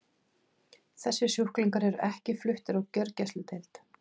Þessir sjúklingar eru ekki fluttir á gjörgæsludeild.